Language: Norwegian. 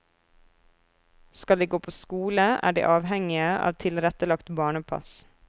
Skal de gå på skole, er de avhengige av tilrettelagt barnepass.